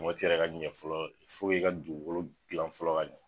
yɛrɛ ka ɲɛ fɔlɔ i ka dugukolo gilan fɔlɔ ka ɲɛ